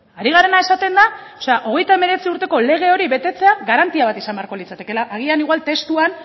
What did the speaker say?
ari garena esaten da hogeita hemeretzi urteko lege hori betetzea garantia bat izan beharko litzatekeela agian igual testuan